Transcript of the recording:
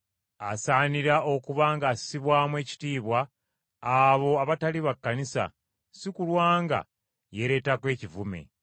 Asaanira okuba ng’assibwamu ekitiibwa abo abatali ba Kkanisa, si kulwa nga yeereetako ekivume.